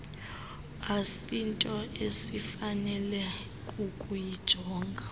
asinto esifanele kukuyijonga